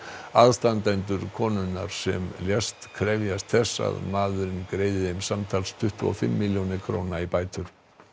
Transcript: aðstandendur konunar sem lést krefjast þess að maðurinn greiði þeim samtals tuttugu og fimm milljónir króna í bætur